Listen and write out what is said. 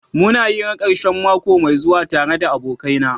Muna hira karshen mako mai zuwa tare da abokaina.